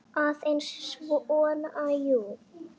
Aðeins svona, jú.